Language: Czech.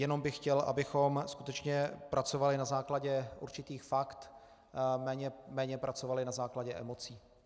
Jenom bych chtěl, abychom skutečně pracovali na základě určitých fakt, méně pracovali na základě emocí.